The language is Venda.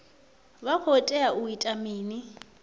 vha khou tea u ita mini